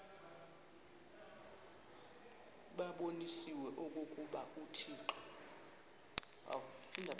babonise okokuba uthixo